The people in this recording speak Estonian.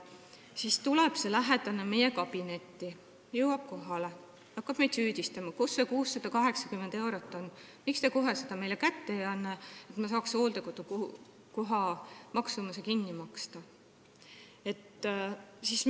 Nüüd tuleb selle eaka lähedane meile kabinetti ja hakkab meid süüdistama: kus on see 680 eurot, miks te kohe seda mulle kätte ei anna, et ma saaksin hooldekodukoha maksumuse kinni maksta?